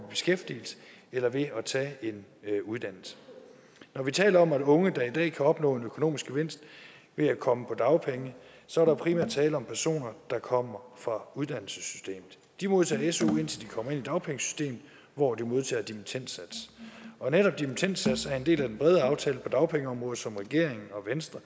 beskæftigelse eller ved at tage en uddannelse når vi taler om unge der i dag kan opnå en økonomisk gevinst ved at komme på dagpenge så er der primært tale om personer der kommer fra uddannelsessystemet de modtager su indtil de kommer ind i dagpengesystemet hvor de modtager dimittendsats og netop dimittendsats er en del af den brede aftale på dagpengeområdet som regeringen og venstre